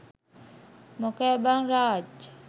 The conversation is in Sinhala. මොකෑ බං රාජ්